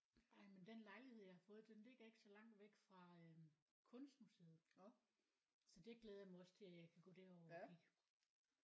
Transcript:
Ej men den lejlighed jeg har fået den ligger ikke så langt væk fra øh kunstmuseet så det glæder jeg mig også til jeg kan gå derover og kigge